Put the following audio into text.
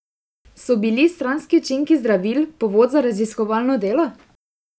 So bili stranski učinki zdravil povod za raziskovalno delo?